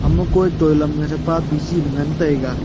ama kui toilam nga thapa biji le ngantaiga.